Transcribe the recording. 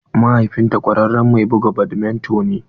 Mahaifin ta kwararen mai buga badminto ne